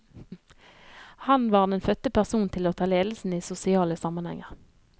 Han var den fødte person til å ta ledelsen i sosiale sammenhenger.